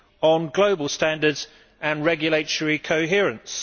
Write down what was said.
on global standards and regulatory coherence.